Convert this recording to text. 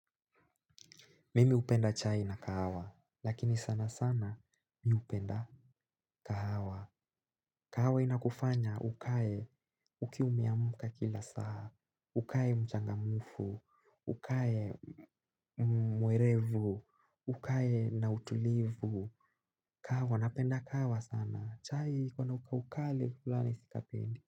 Mimi hupenda chai na kahawa, lakini sana sana mi hupenda kahawa. Kahawa inakufanya ukae ukiwa umeamka kila saa, ukae mchangamufu, ukae mwerevu, ukae na utulivu. Kahawa napenda kahawa sana, chai huwa na ukali fulani sikapendi.